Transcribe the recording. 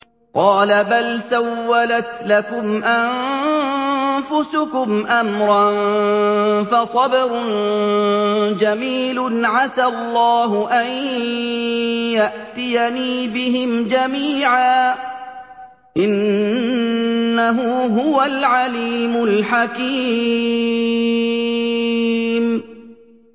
قَالَ بَلْ سَوَّلَتْ لَكُمْ أَنفُسُكُمْ أَمْرًا ۖ فَصَبْرٌ جَمِيلٌ ۖ عَسَى اللَّهُ أَن يَأْتِيَنِي بِهِمْ جَمِيعًا ۚ إِنَّهُ هُوَ الْعَلِيمُ الْحَكِيمُ